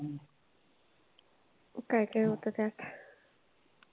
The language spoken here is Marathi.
काय काय होत त्यात?